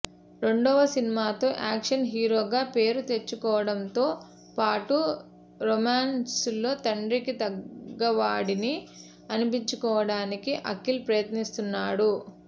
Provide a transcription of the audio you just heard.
రెండవ సినిమాతో యాక్షన్ హీరోగా పేరు తెచ్చుకోవడంతో పాటు రొమాన్స్లో తండ్రికి తగ్గవాడని అనిపించుకోవడానికి అఖిల్ ప్రయత్నిస్తున్నాడు